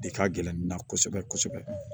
De ka gɛlɛn ne na kosɛbɛ kosɛbɛ